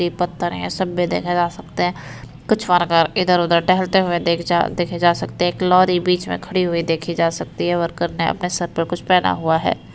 ये पत्थर है सब में देखे जा सकते हैं। कुछ वर्कर इधर-उधर टहलते हुऐ देखे जा सकते हैं। एक लोरी बीच में खड़ी हुई देखी जा सकती है। वर्कर ने अपने सर पर कुछ पहना हुआ है।